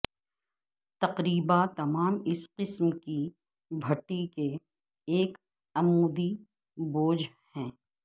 تقریبا تمام اس قسم کی بھٹی کے ایک عمودی بوجھ ہے